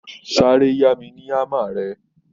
Sáré yá mi ní hámmer rẹ